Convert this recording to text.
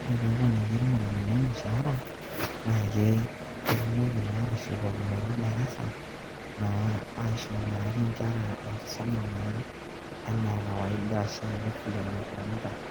ore pee eponiki irmualimuni ormushaara, na ketumoki naa atushukokinoto darasa naa aisho naake inkera enkisoma naa enaa kawaida oshi ake vile nekunita.